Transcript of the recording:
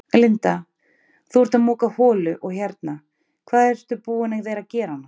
Linda: Þú ert að moka holu og hérna, hvað ertu búin að vera gera annars?